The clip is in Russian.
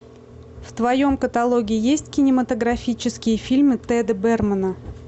в твоем каталоге есть кинематографические фильмы теда бермана